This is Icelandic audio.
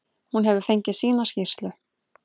Hún hefur fengið sína skýrslu.